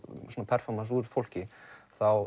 performance úr fólki þá